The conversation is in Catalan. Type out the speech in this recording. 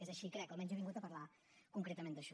és així crec almenys jo he vingut a parlar concretament d’això